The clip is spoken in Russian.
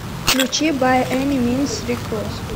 включи бай эни минс рик росс